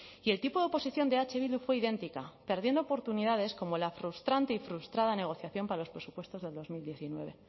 y el tipo de oposición de eh bildu fue idéntica perdiendo oportunidades como la frustrante y frustrada negociación para los presupuestos del dos mil diecinueve